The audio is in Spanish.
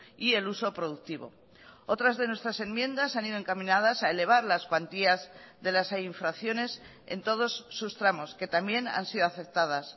y el uso productivo otras de nuestras enmiendas han ido encaminadas a elevar las cuantías de las infracciones en todos sus tramos que también han sido aceptadas